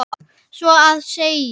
Svo að segja.